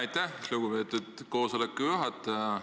Aitäh, lugupeetud koosoleku juhataja!